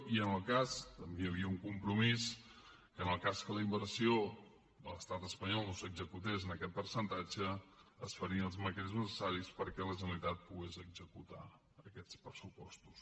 i també hi havia un compromís que en el cas que la inversió de l’estat espanyol no s’executés en aquest percentatge es farien els mecanismes necessaris perquè la generalitat pogués executar aquests pressupostos